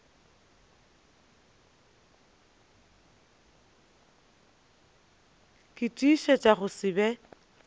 ke tiišetša go se be